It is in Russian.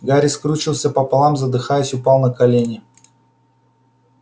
гарри скрючился пополам задыхаясь упал на колени